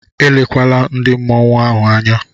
Elekwala ndị mmọnwu ahụ anya!